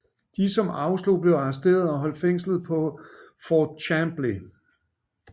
De som afslog blev arresteret og holdt fængslet på Fort Chambly